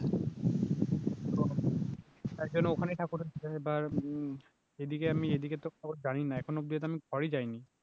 তার জন্য ওখানে ঠাকুর হচ্ছে এবার এদিকে আমি এদিকে তো খবর জানিনা এখন অব্দি তো আমি ঘরে যাইনি